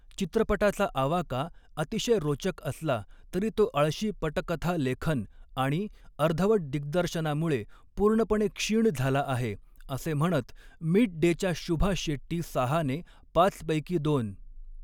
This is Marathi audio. चित्रपटाचा आवाका अतिशय रोचक असला तरी तो आळशी पटकथालेखन आणि अर्धवट दिग्दर्शनामुळे पूर्णपणे क्षीण झाला आहे', असे म्हणत 'मिड डे'च्या शुभा शेट्टी साहाने पाच पैकी दोन.